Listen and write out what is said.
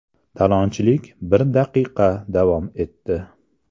Talonchilik bir daqiqa davom etdi.